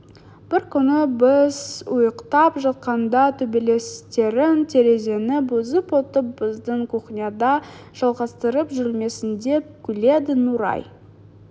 бір күні біз ұйықтап жатқанда төбелестерін терезені бұзып өтіп біздің кухняда жалғастырып жүрмесіндеп күледі нұрай